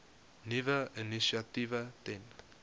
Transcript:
nuwe initiatiewe ten